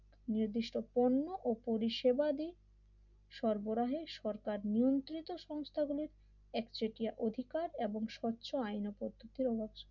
নির্দিষ্ট পণ্য এবং পরিষেবা দিয়ে সরবরাহের সরকার নিয়ন্ত্রিত সংস্থাগুলির একচেটিয়া অধিকার এবং স্বচ্ছ আইন পদ্ধতির মাধ্যমে